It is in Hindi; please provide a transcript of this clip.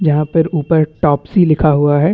जहाँ पर ऊपर टोप्सी लिखा हुआ है।